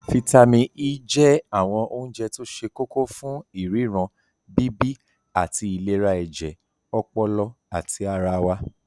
Fítàmì E je awon ounje to se koko fun iriran, bibi. ati ati ilera eje, opolo, ati ara wa.